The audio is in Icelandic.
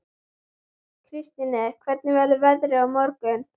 Kristine, hvernig verður veðrið á morgun?